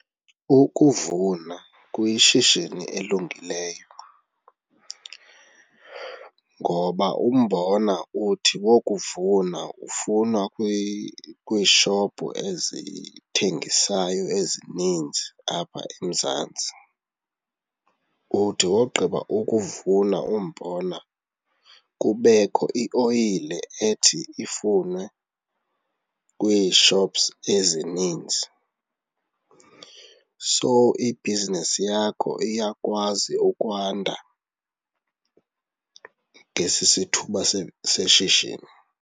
Ukuvuna kuyishishini elungileyo ngoba umbona uthi wokuvuna ufunwa kwiishophu ezithengisayo ezininzi apha eMzantsi. Uthi wogqiba ukuvuna umbona kubekho ioyile ethi ifunwe kwiishops ezininzi. So ibhizinesi yakho iyakwazi ukwanda ngesi sithuba seshishini.